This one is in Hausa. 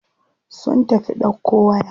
Sun tafi ɗauko waya.